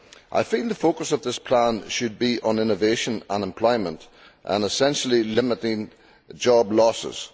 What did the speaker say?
I feel the focus of this plan should be on innovation and employment and essentially limiting job losses.